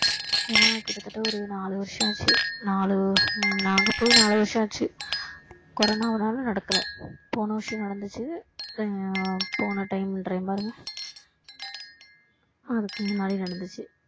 ஏன்னா கிட்ட தட்ட ஒரு நாளு வருஷம் ஆச்சு நாலு ஹம் நாங்க போய் நாலு வருஷம் ஆச்சு கொரோனானால நடக்கல போன வருஷம் நடந்துச்சு ஆஹ் போன time ன்ற பாருங்க அதுக்கு முன்னாடி நடந்துச்சு